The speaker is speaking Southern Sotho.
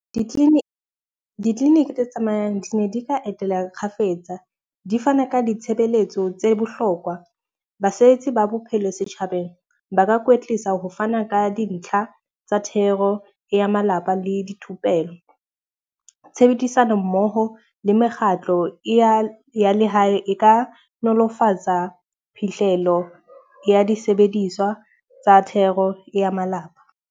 Ditleliniki tse tsamayang di ne di ka etela kgafetsa. Di fane ka ditshebeletso tse bohlokwa. Basebetsi ba bophelo setjhabeng ba ka kwetlisa ho fana ka dintlha tsa thero ya malapa le dithupelo. Tshebedisano mmoho le mekgatlo ya lehae e ka nolofatsa phihlelo ya disebediswa tsa thero ya malapa.